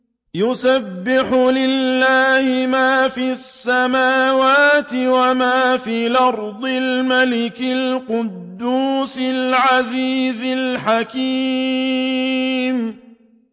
يُسَبِّحُ لِلَّهِ مَا فِي السَّمَاوَاتِ وَمَا فِي الْأَرْضِ الْمَلِكِ الْقُدُّوسِ الْعَزِيزِ الْحَكِيمِ